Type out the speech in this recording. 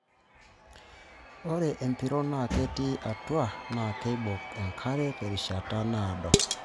Ore empiron naa ketii atua naa keibok enkare terishata naado.